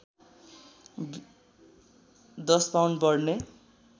१० pound बढ्ने